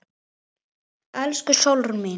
Elsku Sólrún mín.